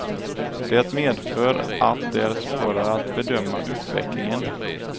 Det medför att det är svårare att bedöma utvecklingen.